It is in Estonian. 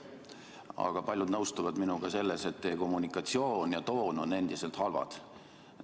Aga paljud nõustuvad minuga selles, et teie kommunikatsioon ja toon on endiselt halvad.